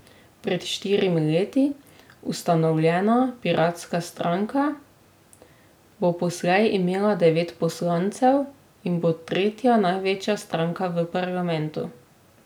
Pred štirimi leti ustanovljena Piratska stranka bo poslej imela devet poslancev in bo tretja največja stranka v parlamentu.